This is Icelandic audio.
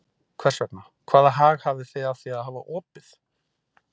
Hvers vegna, hvaða hag hafið þið af því að hafa opið?